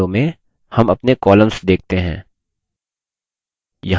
अगली window में हम अपने columns देखते हैं